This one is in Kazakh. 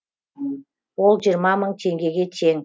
ол жиырма мың теңгеге тең